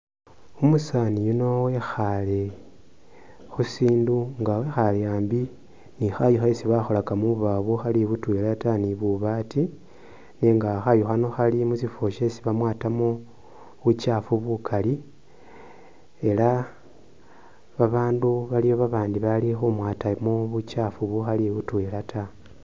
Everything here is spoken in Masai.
Umusaani yuno wekhaale khu sindu nga wekhaale ambi ni khayu khesi bakholaka mu bubawo bukhali butwela ta ni bubaati nenga khayu khano khali musifwo syesi bamwatamu bukyaafu bukali ela babaandu baliwo babandi bali khumwaata mu bukyaafu bukhali butwela ta.